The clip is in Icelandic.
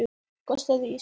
Gosið í Surtsey.